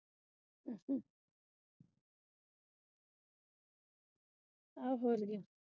ਆਹ ਫੁੱਲਗੇ।